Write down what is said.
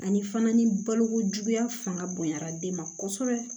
Ani fana ni balokojuguya fanga bonyara den ma kosɛbɛ